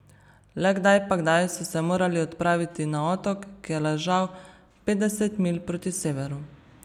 Le kdaj pa kdaj so se morali odpraviti na otok, ki je ležal petdeset milj proti severu.